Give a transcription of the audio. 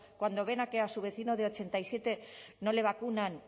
cuando ven que a su vecino de ochenta y siete no le vacunan